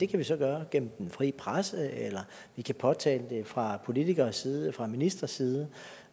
kan vi så gøre gennem den frie presse eller vi kan påtale det fra politikeres side fra ministres side